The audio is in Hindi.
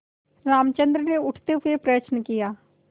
रामचंद्र ने उठते हुए प्रश्न किया